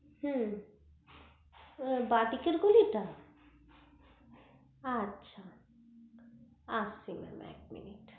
হু বা দিকে যে গলি টা আচ্ছা এক second এক minit